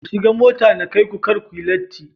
Ku shiga mota na kaiku kar kuyi latti